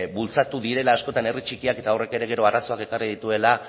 bultzatu direla askotan herri txikiak eta horrek ere gero arazoak ekarri dituela